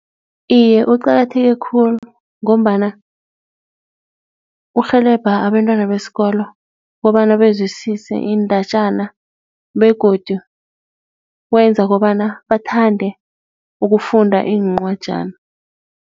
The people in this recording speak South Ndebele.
Iye, kuqakatheke khulu ngombana urhelebha abentwana besikolo kobana bezwisise iindatjana begodu wenza kobana bathande ukufunda incwajana.